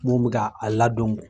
Mun bi ka a ladon n kun.